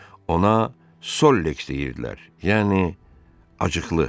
Ona Solleks deyirdilər, yəni acıqlı.